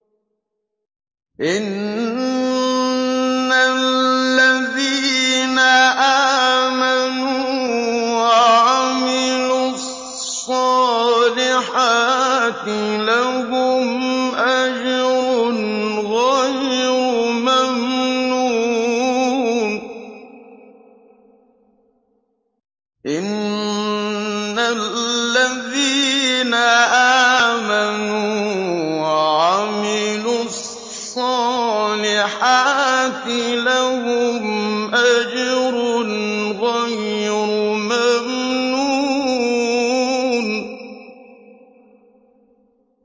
إِنَّ الَّذِينَ آمَنُوا وَعَمِلُوا الصَّالِحَاتِ لَهُمْ أَجْرٌ غَيْرُ مَمْنُونٍ